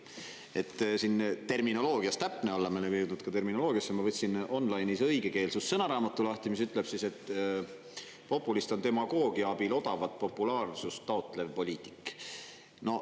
Et siin terminoloogias täpne olla, me oleme jõudnud ka terminoloogiasse, ma võtsin online'is õigekeelsussõnaraamatu lahti, mis ütleb, et populist on demagoogia abil odavat populaarsust taotlev poliitik.